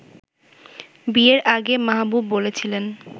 বিয়ের আগে মাহবুব বলেছিলেন